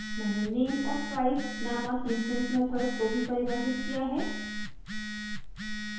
मैंने name और price नामक इंस्टैंस मेथड्स को भी परिभाषित किया है